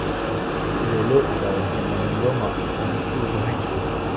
Sidee loo ogaadaa hemangioma aan ku lug lahayn?